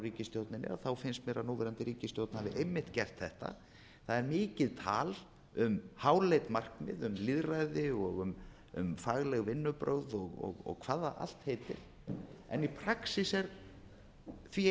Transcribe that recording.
ríkisstjórninni þá finnst mér að núverandi ríkisstjórn hafi einmitt gert þetta það er mikið tal um háleit markmið um lýðræði og um fagleg vinnubrögð og hvað það allt heitir en praxís er því